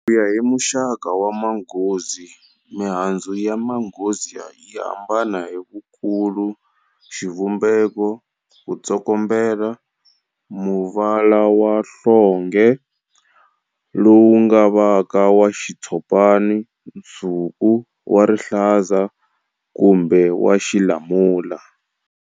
Ku ya hi muxaka wa manghozi, mihandzu ya manghzio yi hambana hi vukulu, xivumbeko, ku tsokombela, muvala wa nhlonge, lowu nga vaka wa xitshopana, nsuku, wa rihlaza, kumbe wa xilamula.